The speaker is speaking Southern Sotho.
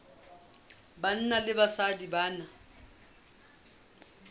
banna le basadi ba na